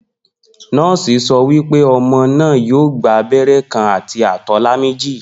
Nó̩ò̩sì so̩ wí pé o̩mo̩ náà yóò gba abé̩ré̩ kan àti àtó̩lá méjì